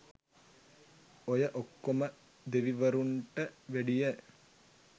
ඔය ඔක්කොම දෙවිවරුන්ට වැඩිය